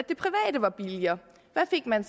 at var billigere hvad fik man